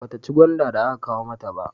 Ba ta ci gwanda da aka kawo mata ba